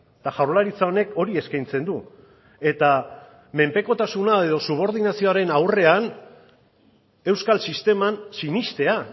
eta jaurlaritza honek hori eskaintzen du eta menpekotasuna edo subordinazioaren aurrean euskal sisteman sinestea